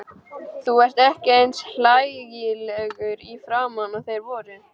Þú ert ekki eins hlægilegur í framan og þeir voru.